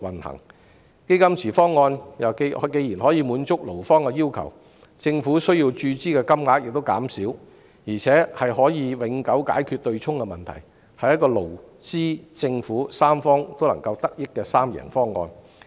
既然"基金池"方案可以滿足勞方的要求，政府需要注資的金額亦減少，而且可以永久解決對沖的問題，是一個勞、資、政府三方均能夠得益的三贏方案。